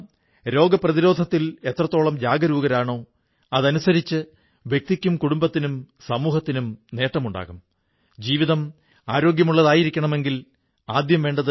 ഇപ്പോൾ നോക്കൂ കേരളത്തിൽ ജനിച്ച പൂജനീയ ആചാര്യ ശങ്കരാചാര്യജി ഭാരതത്തിന്റെ നാലു ദിക്കുകളിലും നാലു മഹാ മഠങ്ങൾ സ്ഥാപിച്ചു വടക്ക് ബദ്രികാശ്രമം കിഴക്ക് പുരി തെക്ക് ശൃംഗേരി പടിഞ്ഞാറ് ദ്വാരക